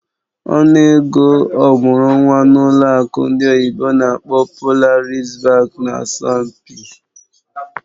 Ọnụ ego ọmụrụ nwa n'ụlọ akụ ndị oyibo n'akpọ "Polaris Bank" nà asọmpi.